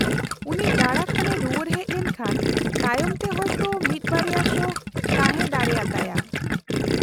-ᱩᱱᱤ ᱫᱟᱬᱟ ᱠᱷᱚᱱᱮ ᱨᱩᱣᱟᱹᱲ ᱦᱮᱡ ᱞᱮᱱᱠᱷᱟᱱ ᱛᱟᱭᱚᱢ ᱛᱮ ᱦᱚᱭᱛᱚ ᱢᱤᱫ ᱵᱟᱨᱭᱟ ᱥᱳ ᱛᱟᱦᱮᱸ ᱫᱟᱲᱮᱭᱟ ᱛᱟᱭᱟ ᱾